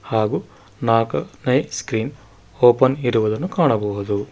ಹಾಗು ನಾಲ್ಕು night screen open ಇರುವುದನ್ನು ಕಾಣಬಹುದು.